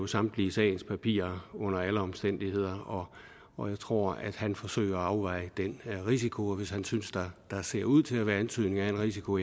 samtlige sagspapirer under alle omstændigheder og og jeg tror at han forsøger at afveje den risiko og hvis han synes der ser ud til at være antydningen af en risiko